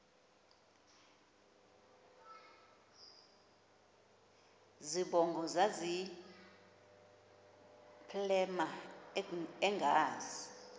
zibongo zazlphllmela engazi